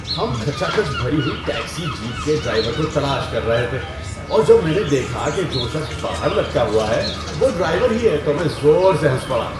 ہم کھچا کھچ بھری ہوئی ٹیکسی جیپ کے ڈرائیور کو تلاش کر رہے تھے اور جب میں نے دیکھا کہ جو شخص باہر لٹکا ہوا ہے وہ ڈرائیور ہی ہے تو میں زور سے ہنس پڑا۔